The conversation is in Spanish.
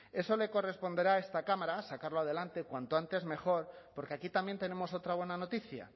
eso le corresponderá a esta cámara sacarlo adelante cuanto antes mejor porque aquí también tenemos otra buena noticia